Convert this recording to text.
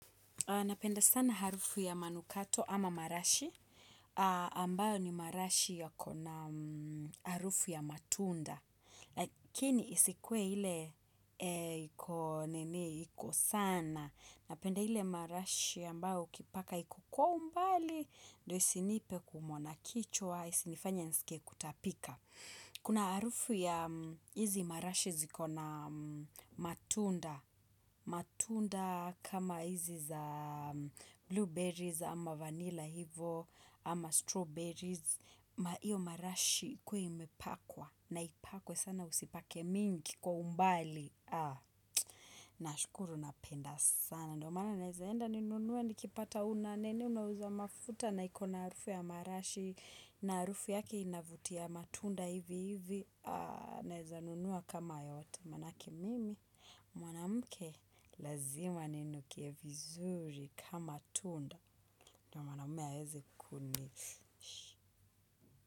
Napenda sana harufu ya manukato ama marashi, ambayo ni marashi yako na harufu ya matunda. Lakini isikuwe hile iko nini iko sana. Napenda ile marashi ambayo ukipaka iko kwa umbali, ndio isinipe kuumwa na kichwa, isinifanye nsikie kutapika. Kuna harufu ya hizi marashi ziko na matunda. Matunda kama hizi za blueberries ama vanilla hivo ama strawberries iyo marashi ikuwe imepakwa. Naipakwe sana usipake mingi kwa umbali. Nashukuru napenda sana. Ndio maana naezaenda ninunue nikipata una nini. Unauza mafuta na iko na harufu ya marashi. Na harufu yaki inavutia matunda hivi hivi. Naeza nunua kama yote. Manake mimi, mwanamke lazima ninukie vizuri kama tunda. Ndio mwanamume aeze kuni.